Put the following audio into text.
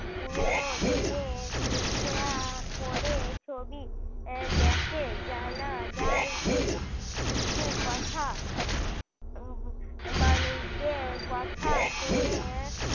পুরনো দিনের লিখে আর পরে ছবি দেখে জানা যায় কি কিছু কথা উম মানুষদের কথা শুনে